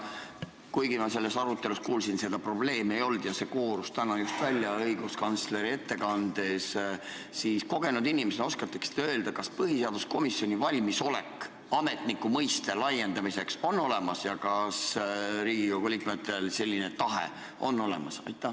Kuigi ma kuulsin, et selles arutelus seda probleemi ei kõlanud, see koorus täna just välja õiguskantsleri ettekandest, siis kogenud inimesena oskate ehk öelda, kas põhiseaduskomisjonil on valmisolek ametniku mõiste laiendamiseks olemas ja kas Riigikogu liikmetel on selline tahe olemas?